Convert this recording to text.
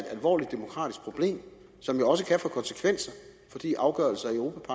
alvorligt demokratisk problem som jo også kan få konsekvenser fordi afgørelser i europa